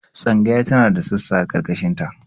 Tsangaya tana da sassa a ƙarkashin ta